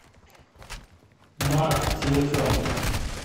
мак телефон